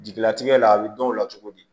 Jigilatigɛ la a bɛ dɔn o la cogo di